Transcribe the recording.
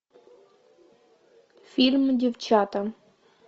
фильм девчата